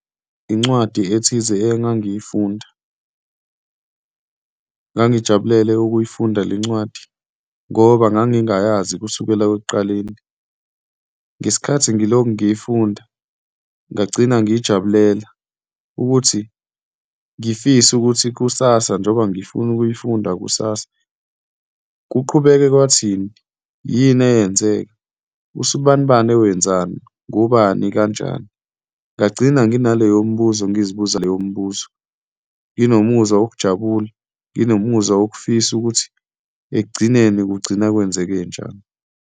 Incwadi ethize engangiyifunda ngangijabulele ukuyifunda le ncwadi ngoba ngangingayazi kusukela ekuqaleni. Ngesikhathi ngilokhu ngiyifunda, ngagcina ngiyijabulela ukuthi ngifise ukuthi kusasa, njengoba ngifuna ukuyifunda kusasa, kuqhubeke kwathini, yini eyenzeka, usibanibani owenzani, ngubani, kanjani. Ngagcina nginaleyo mibuzo, ngizibuza leyo mibuzo, nginomuzwa wokujabula, nginomuzwa wokufisa ukuthi ekugcineni kugcina kwenzeke njani.